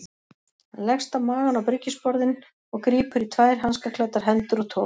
Hann leggst á magann á bryggjusporðinn og grípur í tvær hanskaklæddar hendur og togar.